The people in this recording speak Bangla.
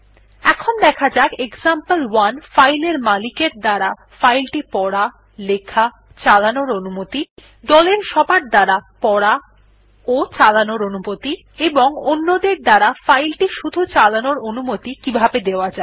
এখন দেখা যাক এক্সাম্পল1 ফাইল এর মালিকের দ্বারা ফাইল টি পড়া লেখাচালানোর অনুমতি দলের সবার দ্বারা পড়াচালানোর অনুমতি এবং অন্যদের দ্বারা ফাইল টি শুধু চালানোর অনুমতি কিভাবে দেওয়া যায়